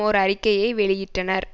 ஓர் அறிக்கையை வெளியிட்டனர்